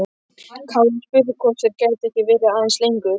Kári spurði hvort þeir gætu ekki verið aðeins lengur.